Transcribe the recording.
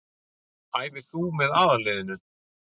Æfir þú með aðalliðinu?